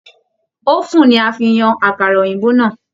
Òfún ní a fí yan àkàrà òyìnbó náà.